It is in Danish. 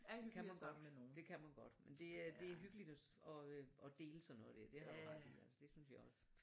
Kan man godt det kan man godt men det er det hyggeligt at dele sådan noget dér det har du ret altså det synes jeg også